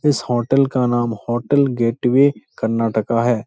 इस होटल का नाम होटल गेटवे कर्नाटका है।